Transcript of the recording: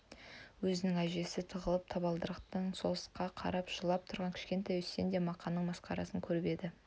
өзінің әжесіне тығылып табалдырықтан соғысқа қарап жылап тұрған кішкентай үсен де мақаның масқарасын көріп еді